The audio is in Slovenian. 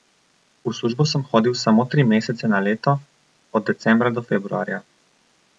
V službo sem hodil samo tri mesece na leto, od decembra do februarja.